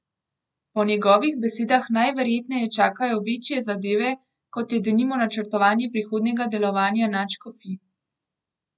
Po njegovih besedah najverjetneje čakajo večje zadeve, kot je denimo načrtovanje prihodnjega delovanja nadškofij.